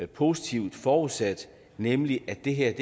positivt har forudsat nemlig at det her